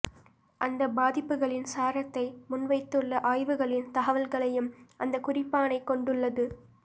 அந்தப் பாதிப்புகளின் சாரத்தை முன்வைத்துள்ள ஆய்வுகளின் தகவல்களையும் அந்தக் குறிப்பாணை கொண்டுள்ளது